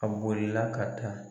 A bolila ka taa.